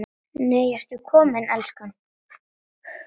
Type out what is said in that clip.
NEI, ERTU KOMIN, ELSKAN!